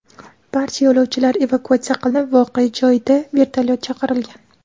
Barcha yo‘lovchilar evakuatsiya qilinib, voqea joyida vertolyot chaqirilgan.